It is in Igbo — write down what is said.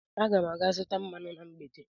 Aga m aga zụta mmanụ na mgbede.